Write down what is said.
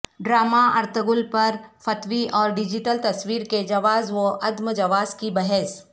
drama Ertugrul پرفتوی اور digital تصویر کے جواز و عدم جواز کی بحث